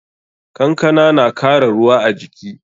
Kankana na kara ruwa a jiki.